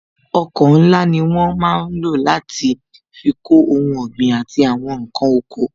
Ọkọ̀ ńlá ni wọ́n máa ń lò láti fi kó ohun ọ̀gbìn àti àwọn nkan oko